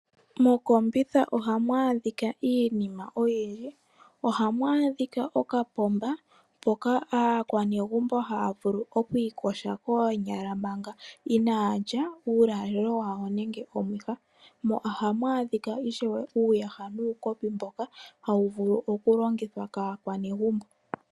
Mokombitha ohamu adhika iinima oyindji. Ohamu adhika okapomba, mpoka aakwanezimo haya vulu okwiiyoga koonyala manga inaya lya uulalelo wawo , mo ohamu adhika ishewe uuyaha nuukopi mboka hawu vulu okulongithwa kaakwanezimo.